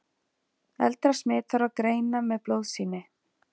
Eldra smit þarf að greina með blóðsýni.